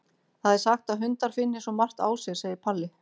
Það er sagt að hundar finni svo margt á sér, segir Palli.